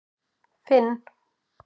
Finn